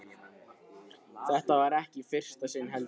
Það var ekki í fyrsta sinn, heldur.